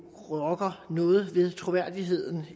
rokker noget ved troværdigheden